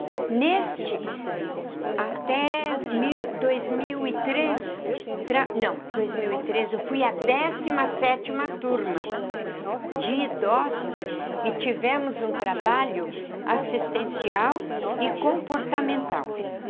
Neste, até mil dois mil e três... Não, dois mil e três, eu fui a décima sete turma de idosos e tivemos um trabalho assistencial e comportamental.